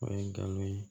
O ye galon ye